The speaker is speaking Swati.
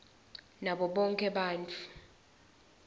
nabo bonkhe bantfu